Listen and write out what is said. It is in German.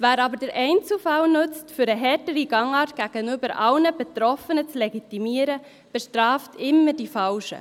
Wer aber den Einzelfall nutzt, um eine härtere Gangart gegenüber allen Betroffenen zu legitimieren, bestraft immer die Falschen.